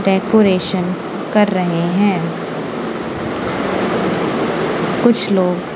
decoration कर रहे हैं कुछ लोग--